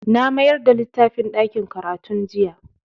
Na mayar da littafin ɗakin karatun jiya.